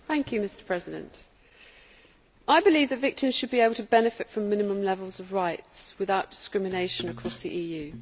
Mr President, I believe that victims should be able to benefit from minimum levels of rights without discrimination across the EU.